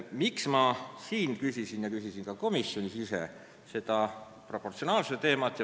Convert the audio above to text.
Miks ma küsisin siin ja ka komisjonis proportsionaalsuse kohta?